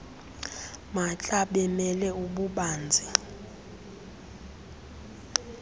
maatla bemele ububanzi